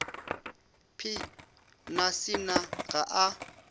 p na sinah ga a